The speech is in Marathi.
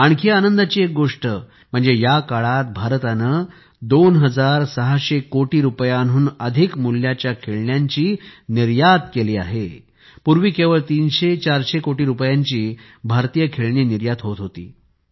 आणखी आनंदाची एक गोष्ट म्हणजे या काळात भारताने 2 हजार सहाशे कोटी रुपयांहून अधिक मूल्याच्या खेळण्यांची निर्यात केली आहे पूर्वी केवळ 300400 कोटी रुपयांची भारतीय खेळणी निर्यात होत होती